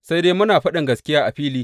Sai dai muna faɗin gaskiya a fili.